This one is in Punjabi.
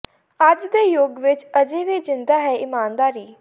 ਅੱਜ ਦੇ ਯੁੱਗ ਵਿੱਚ ਅਜੇ ਵੀ ਜਿੰਦਾ ਹੈ ਇਮਾਨਦਾਰੀ